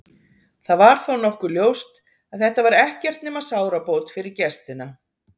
Það var þó nokkuð ljóst að þetta var ekkert nema sárabót fyrir gestina.